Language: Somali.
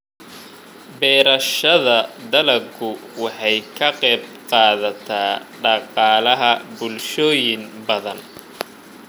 Beerashada dalaggu waxay ka qayb qaadataa dhaqaalaha bulshooyin badan.